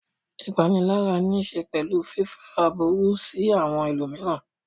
Ìpanilára níṣe pẹ̀lú fífá aburú sí àwọn ẹlòmíràn.